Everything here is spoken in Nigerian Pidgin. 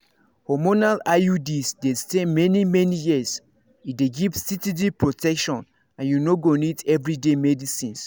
hormonal iuds dey stay many-many years e dey give steady protection and you no go need everyday medicines